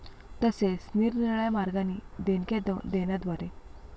तसेच, निरनिराळ्या मार्गांनी देणग्या देण्याद्वारे आर्थिक दृष्ट्या या कार्याला हातभार लावण्याची संधीही ते सोडत नाहीत.